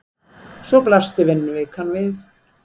Svo blasti vinnuvikan við.